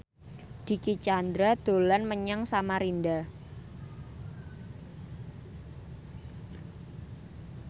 Dicky Chandra dolan menyang Samarinda